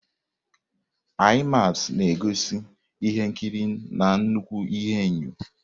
IMAX na-egosi ihe nkiri na nnukwu ihuenyo.